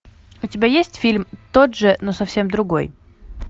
у тебя есть фильм тот же но совсем другой